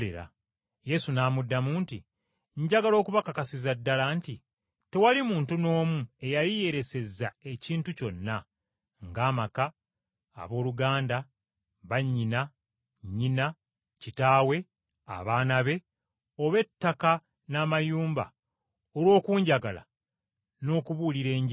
Yesu n’amuddamu nti, “Njagala okubakakasiza ddala nti, Tewali muntu n’omu eyali yeeresezza ekintu kyonna, ng’amaka, abooluganda, bannyina, nnyina, kitaawe, abaana be, oba ettaka n’amayumba olw’okunjagala n’okubuulira Enjiri,